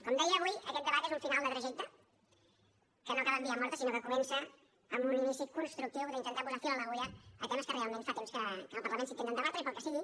com deia avui aquest debat és un final de trajecte que no acaba en via morta sinó que comença amb un inici constructiu d’intentar posar fil a l’agulla a temes que realment fa temps que en el parlament s’intenten debatre i pel que sigui